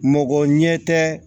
Mɔgɔ ɲɛ tɛ